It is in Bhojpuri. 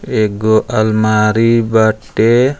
एगो अलमारी बाटे।